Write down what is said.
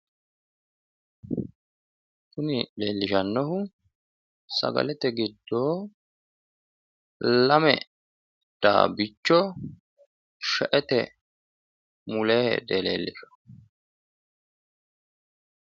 Kuni leellishannohu sagalete giddo lame daabbicho shaete mulee heedhe leellishshanno.